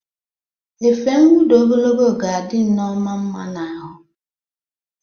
Efe nwuda ogologo ga-adị Nneoma nma n'ahụ.